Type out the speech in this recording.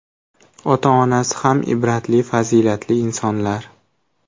Ota-onasi ham ibratli, fazilatli insonlar.